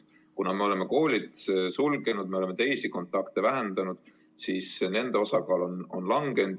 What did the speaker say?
Kuna me oleme koolid sulgenud ja ka teisi kontakte vähendanud, siis nende osakaal on kahanenud.